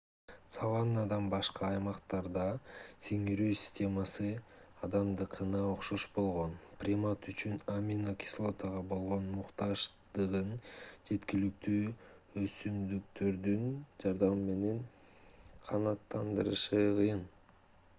саваннадан башка аймактарда сиңирүү системасы адамдыкына окшош болгон примат үчүн амино-кислотага болгон муктаждыгын жеткиликтүү өсүмдүктөрдүн жардамы менен канааттандырышы кыйын